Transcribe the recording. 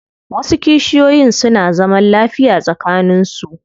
Wasu kishiyoyin suna zaman lafiya tsakanin su.